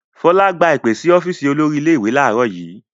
Fọlá gba ìpè sí ọ́fíísì olórí ilé-ìwé láàárọ̀ yìí.